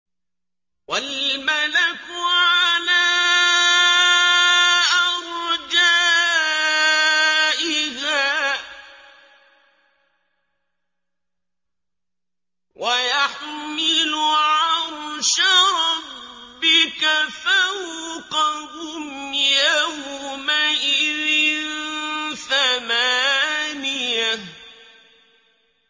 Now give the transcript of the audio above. وَالْمَلَكُ عَلَىٰ أَرْجَائِهَا ۚ وَيَحْمِلُ عَرْشَ رَبِّكَ فَوْقَهُمْ يَوْمَئِذٍ ثَمَانِيَةٌ